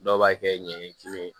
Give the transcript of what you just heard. Dɔw b'a kɛ ɲɛɲɛ kelen ye